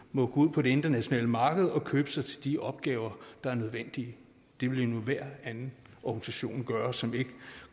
må gå ud på det internationale marked og købe sig til de opgaver der er nødvendige det ville enhver anden organisation gøre som ikke